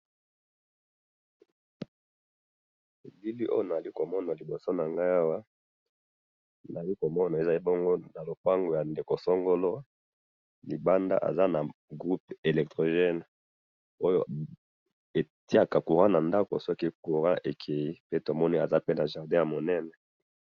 na bilili oyo nazali komona na liboso nangai awa, nazali komona, ezali bongo na lupango ya ndeko songolo, libanda aza na groupe electrogene oyo etiaka courant na ndako soki courant ekeyi, pe tomoni aza na jardin ya munene